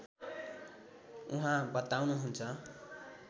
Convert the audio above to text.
उहाँ बताउनुहुन्छ